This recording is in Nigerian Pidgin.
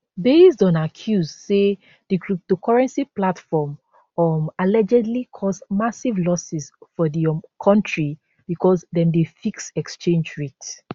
based on accuse say di cryptocurrency platform um allegedly cause massive losses for di um kontri becos dem dey fix exchange rate